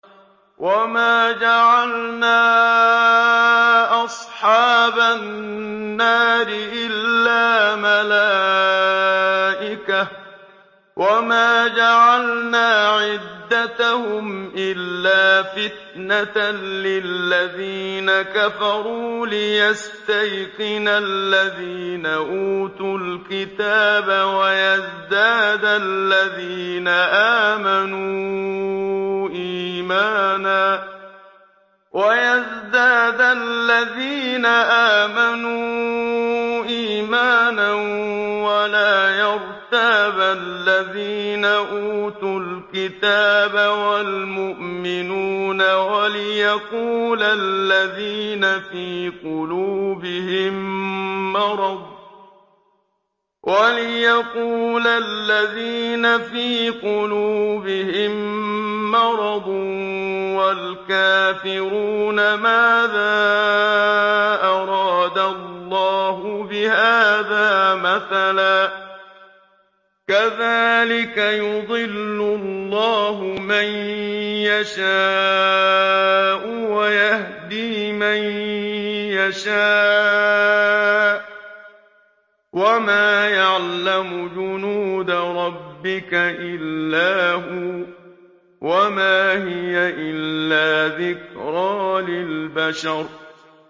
وَمَا جَعَلْنَا أَصْحَابَ النَّارِ إِلَّا مَلَائِكَةً ۙ وَمَا جَعَلْنَا عِدَّتَهُمْ إِلَّا فِتْنَةً لِّلَّذِينَ كَفَرُوا لِيَسْتَيْقِنَ الَّذِينَ أُوتُوا الْكِتَابَ وَيَزْدَادَ الَّذِينَ آمَنُوا إِيمَانًا ۙ وَلَا يَرْتَابَ الَّذِينَ أُوتُوا الْكِتَابَ وَالْمُؤْمِنُونَ ۙ وَلِيَقُولَ الَّذِينَ فِي قُلُوبِهِم مَّرَضٌ وَالْكَافِرُونَ مَاذَا أَرَادَ اللَّهُ بِهَٰذَا مَثَلًا ۚ كَذَٰلِكَ يُضِلُّ اللَّهُ مَن يَشَاءُ وَيَهْدِي مَن يَشَاءُ ۚ وَمَا يَعْلَمُ جُنُودَ رَبِّكَ إِلَّا هُوَ ۚ وَمَا هِيَ إِلَّا ذِكْرَىٰ لِلْبَشَرِ